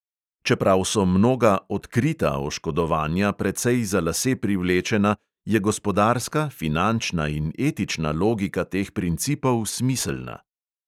Čeprav so mnoga "odkrita" oškodovanja precej za lase privlečena, je gospodarska, finančna in etična logika teh principov smiselna.